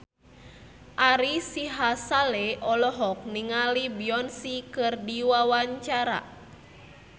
Ari Sihasale olohok ningali Beyonce keur diwawancara